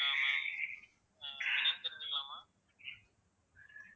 ஆஹ் ma'am அஹ் உங்க name தெரிஞ்சுக்கலாமா